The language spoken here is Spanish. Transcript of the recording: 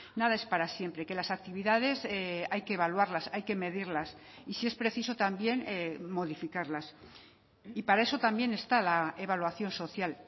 nada es para siempre que las actividades hay que evaluarlas hay que medirlas y si es preciso también modificarlas y para eso también está la evaluación social